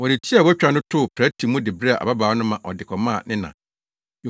Wɔde ti a wɔatwa no too prɛte mu de brɛɛ ababaa no ma ɔde kɔmaa ne na.